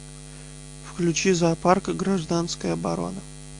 включи зоопарк гражданская оборона